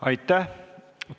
Aitäh!